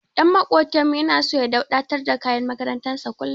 Ɗan maƙotanmu yana so ya dauɗatar da kayan makarantar sa kullum.